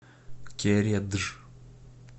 кередж